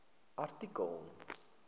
artikel